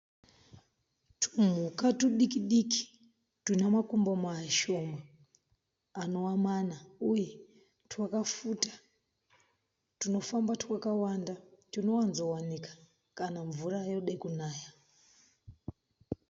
Tumhuka tudiki-diki tunemakumbo mashoma anova mana uye twakafuta. Tunofamba twakawanda tunowanzokuwanikwa kana mvura yoda kunaya.